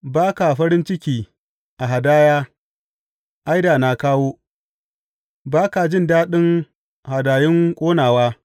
Ba ka farin ciki a hadaya, ai da na kawo; ba ka jin daɗin hadayun ƙonawa.